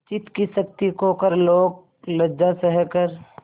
चित्त की शक्ति खोकर लोकलज्जा सहकर